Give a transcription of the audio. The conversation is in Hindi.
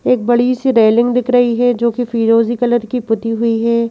एक बड़ी सी रेलिंग दिख रही है जोकि फिरोजी कलर की पुती हुई है।